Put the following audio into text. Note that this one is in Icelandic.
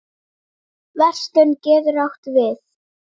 Verslun getur átt við